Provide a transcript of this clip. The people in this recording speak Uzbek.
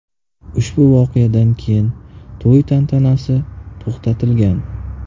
Ushbu voqeadan keyin to‘y tantanasi to‘xtatilgan.